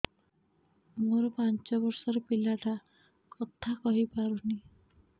ମୋର ପାଞ୍ଚ ଵର୍ଷ ର ପିଲା ଟା କଥା କହି ପାରୁନି